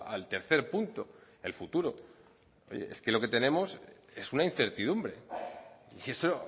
al tercer punto el futuro es que lo que tenemos es una incertidumbre y eso